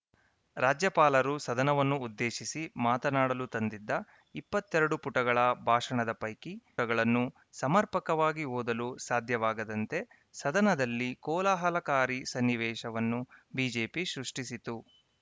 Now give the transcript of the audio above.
ರಾಜ್ಯಪಾಲರು ಸದನವನ್ನು ಉದ್ದೇಶಿಸಿ ಮಾತನಾಡಲು ತಂದಿದ್ದ ಇಪ್ಪತ್ತ್ ಎರಡು ಪುಟಗಳ ಭಾಷಣದ ಪೈಕಿ ಪುಟಗಳನ್ನು ಸಮರ್ಪಕವಾಗಿ ಓದಲು ಸಾಧ್ಯವಾಗದಂತೆ ಸದನದಲ್ಲಿ ಕೋಲಾಹಲಕಾರಿ ಸನ್ನಿವೇಶವನ್ನು ಬಿಜೆಪಿ ಸೃಷ್ಟಿಸಿತು